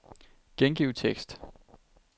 Gengiv tekst.